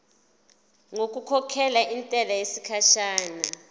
ngokukhokhela intela yesikhashana